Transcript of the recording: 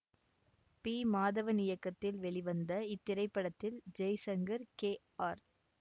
B Madhavan இயக்கத்தில் வெளிவந்த இத்திரைப்படத்தில் ஜெய்சங்கர் கே ஆர்